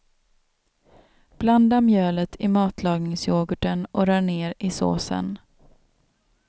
Blanda mjölet i matlagningsyoghurten och rör ner i såsen.